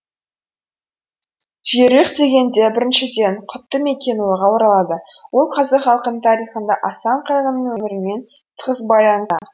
жерұйық дегенде біріншіден құтты мекен ойға оралады ол қазақ халқының тарихында асан қайғының өмірімен тығыз байланыста